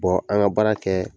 an ŋa baara kɛ